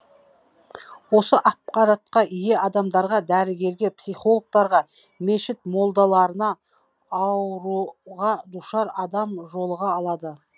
осы ақпаратқа ие адамдарға дәрігерге психологтарға мешіт молдаларына ауруға душар адам жолыға алады